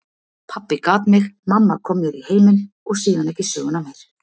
Pabbi gat mig, mamma kom mér í heiminn, og síðan ekki söguna meir.